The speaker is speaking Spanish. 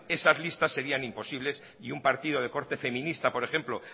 esas listas serían imposibles y un partido de corte feminista por ejemplo